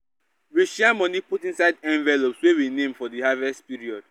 we share money put inside envelopes wey we name for di harvest period